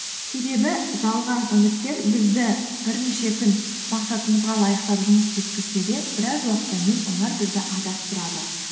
себебі жалған үміттер бізді бірнеше күн мақсатымызға лайықтап жұмыс істеткізсе де біраз уақыттан кейін олар бізді адастырады